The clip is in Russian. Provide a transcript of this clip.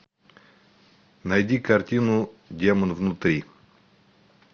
найди картину демон внутри